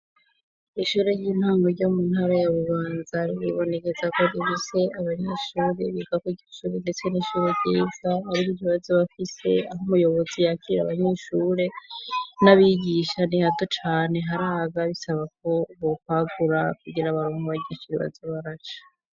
ishure ry'intango ryo mu ntara ya bubanza ribonekeza ko rifise abanyeshuri biga kwiryo shuri ndetse n'ishure ryiza hariho abaza bafise aho muyobozi yakirira abanyeshure n'abigisha nihato cane haraga bisaba ko bukwagura kugira abanyeshure baze baronke iyo baca